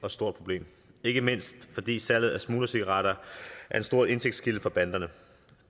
og stort problem ikke mindst fordi salget af smuglercigaretter er en stor indtægtskilde for banderne